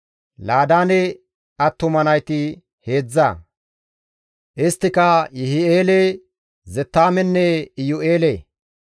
Laadaane attuma nayti heedzdza; isttika Yihi7eele, Zettaamenne Iyu7eele.